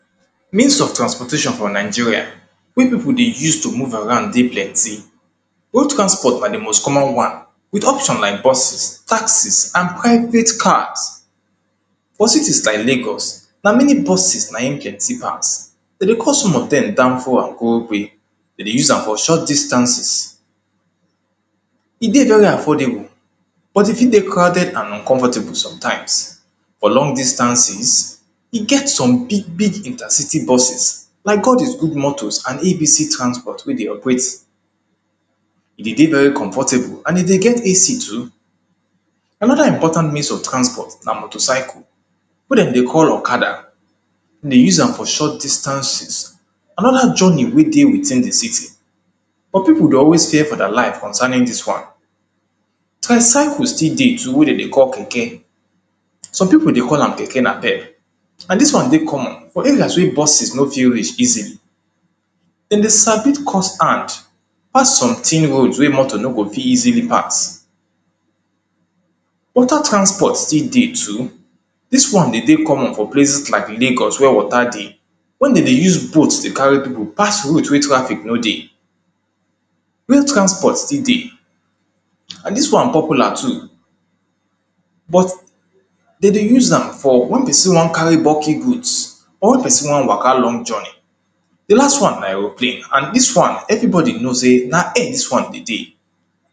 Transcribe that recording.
means of transportation for nigeria, wey pipo dey use to move around dey plenty. old transport na the most common one, with option like buses, taxes, and private cars. for cities like lagos, na mainly buses na in plenty pass den dey call some of dem danfo and korope, den dey use am for short distances, e dey very affordable, but e fit dey crowded and uncomfortable, sometimes. for long distances, e get some big big inter-city buses, like God is good transport, and ABC motors wey dey operate. e de dey very comfortable and e dey get AC too. another important means of transport na motorcycle, wey dem dey call okada, den dey use am for short distances, and other journey wey dey within the city, but pipo dey always fear for deir life concerning dis one. tricycle still dey too, wey de dey call keke, some pipo dey call am keke napep, and dis one dey common, or areas wey buses no fit reach easily, den dey sabi cut hand pass some thin road wey motor no fit pass. water transport still dey too, dis one de dey common for places like lagos wey water dey, wen den dey use boat dey carry pipo pass route wey traffic no dey. rail transport still dey, and dis one popular too, but, den dey use am for wen person wan carry bulky goods or person wan waka long journey. the last one na aeroplane, and dis one everybody know sey, na air dis one de dey.